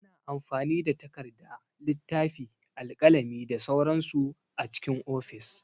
Ana amfani da takarda, littafi, alƙalami da sauran su a cikin ofis.